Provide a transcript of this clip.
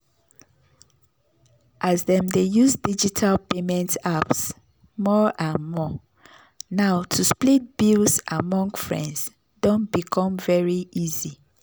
as dem dey use digital payment apps more and more now to split bills among friends don become very easy.